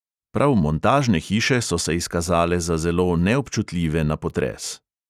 Prav montažne hiše so se izkazale za zelo neobčutljive na potres.